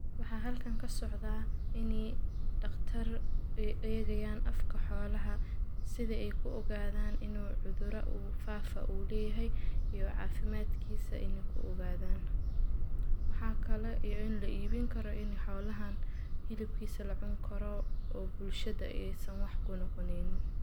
Waxaa halkan kasocda dhaqtar ay eegayan afka xoolaha sida ay ku ogaadan ini u cudura qaas ah u leeyahay iyo caafimadkiisa inay ku ogaadan. Waxaa kale iyo in la iibin kara xoolaha hilibkiisa lacuni karo oo bulshada aysan wax ku noqonaynin.